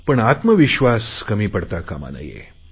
पण आत्मविश्वास कमी पडता कामा नये